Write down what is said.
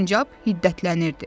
Sincab hiddətlənirdi.